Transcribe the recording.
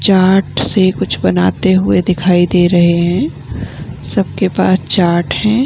Chart से कुछ बनाते हुए दिखाई दे रहे हैं | सबके पास चार्ट हैं ।